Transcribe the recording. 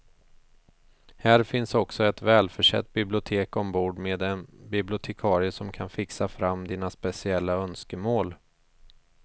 Här finns också ett välförsett bibliotek ombord med en bibliotekarie som kan fixa fram dina speciella önskemål.